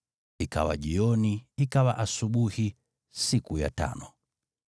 Ikawa jioni, ikawa asubuhi, siku ya tano.